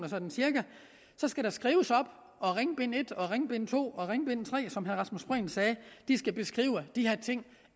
sådan cirka skal der skrives op og ringbind et og ringbind to og ringbind tre som herre rasmus prehn sagde skal beskrive de her ting